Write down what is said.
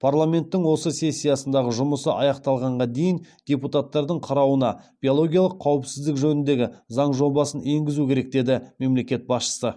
парламенттің осы сессиясындағы жұмысы аяқталғанға дейін депутаттардың қарауына биологиялық қауіпсіздік жөніндегі заң жобасын енгізу керек деді мемлекет басшысы